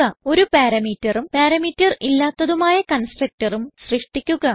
ഒരു parameterഉം പാരാമീറ്റർ ഇല്ലാത്തതും ആയ constructorഉം സൃഷ്ടിക്കുക